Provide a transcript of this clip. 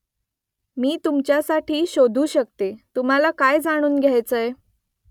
मी तुमच्यासाठी शोधू शकतो तुम्हाला काय जाणून घ्यायचंय ?